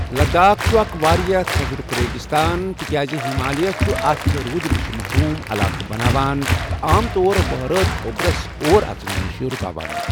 لداخ چُھ اکھ واریاہ تھزرُک ریگِستان تِکیازِ ہِمالیہ چھ اتھ روٗدٕ نِش محروٗم علاقہٕ بناوان تہ عام طوروہرٲژ اوٚبرس اور اژنہٕ نِش رُکاوان۔